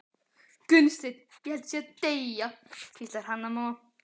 Gunnsteinn, ég held ég sé að deyja, hvíslaði Hanna-Mamma.